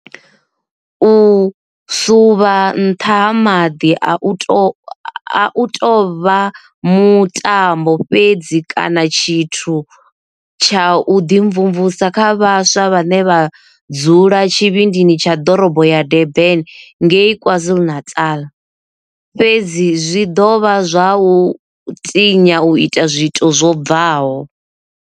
U suvha nṱha ha maḓi a u tou vha mutambo fhedzi kana tshithu tsha u ḓimvumvusa kha vhaswa vhane vha dzula tshivhindini tsha ḓorobo ya Durban ngei KwaZulu-Natal, fhedzi zwi ḓovha zwa vha u tinya u ita zwiito zwo bvaho.